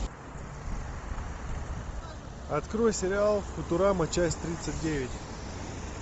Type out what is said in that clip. открой сериал футурама часть тридцать девять